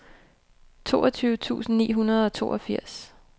toogtyve tusind ni hundrede og toogfirs